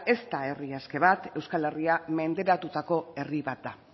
ez da herri aske bat euskal herria menderatutako herri bat da